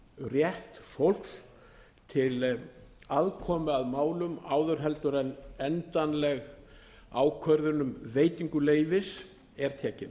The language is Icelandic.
rétt fólks til aðkomu að málum áður en endanleg ákvörðun um veitingu leyfis er tekin